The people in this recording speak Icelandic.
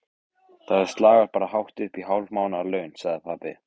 Dimmuborgum við Mývatn og þá var farið að skyggja.